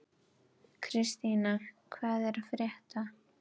Kristína, hvað er að frétta?